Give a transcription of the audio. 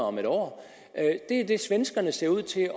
om et år det er det svenskerne ser ud til